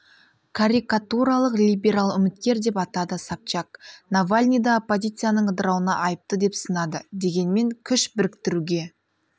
карикатуралық либерал үміткер деп атады собчак навальныйды оппозицяның ыдырауына айыпты деп сынады дегенмен күш біріктіруге